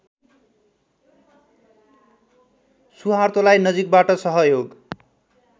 सुहार्तोलाई नजिकबाट सहयोग